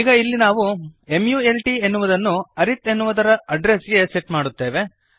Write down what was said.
ಈಗ ಇಲ್ಲಿ ನಾವು ಮಲ್ಟ್ ಎನ್ನುವುದನ್ನು ಅರಿತ್ ಎನ್ನುವುದರ ಅಡ್ರೆಸ್ ಗೆ ಸೆಟ್ ಮಾಡುತ್ತೇವೆ